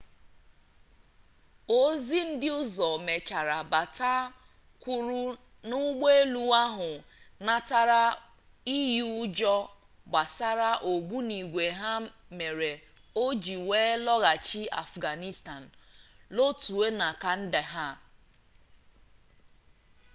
ozi ndị ọzọ mechara bata kwuru na ụgbọ elu ahụ natara iyi ụjọ gbasara ogbunigwe ya mere o ji wee lọghachi afganistan lotuo na kandahar